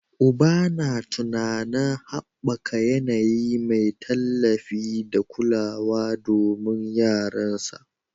Uban yana tunanin haɓaka yanayi mai tallafi da kulawa domin yaransa